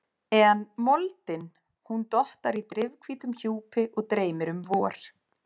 En moldin, hún dottar í drifhvítum hjúpi og dreymir um vor.